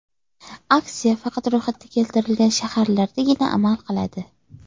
Aksiya faqat ro‘yxatda keltirilgan shaharlardagina amal qiladi.